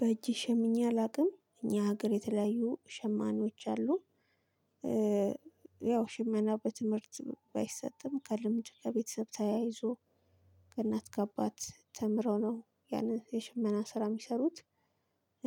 በጄ ሸምኜ አላውቅም እኛ ሀገር የተለያዩ ሸማኔዎች አሉ። ያው ሽመና በትምርት ባይሰጥም ከልምድ ከቤተሰብ ተያይዞ ከናት ካባት ተምረው ነው ያንን የሽመና ስራ የሚሰሩት።